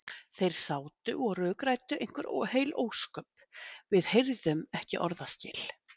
Þeir sátu og rökræddu einhver heil ósköp, við heyrðum ekki orðaskil.